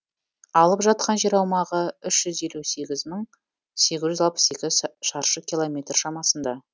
алып жатқан жер аумағы үш жүз елу сегіз мың сегіз жүз алпыс екі шаршы километр шамасында